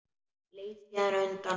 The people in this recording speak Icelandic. Leit síðan undan.